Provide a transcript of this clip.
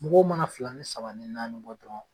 Mɔgɔw mana fila ni saba ni naani bɔ dɔrɔn